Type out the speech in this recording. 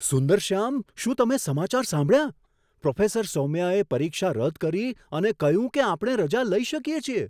સુંદરશ્યામ, શું તમે સમાચાર સાંભળ્યા? પ્રોફેસર સૌમ્યાએ પરીક્ષા રદ કરી અને કહ્યું કે આપણે રજા લઈ શકીએ છીએ!